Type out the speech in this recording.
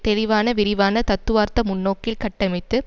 தெளிவான விரிவான தத்துவார்த்த முன்னோக்கில் கட்டமைத்து